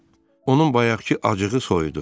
Onun bayaqkı acığı soyudu.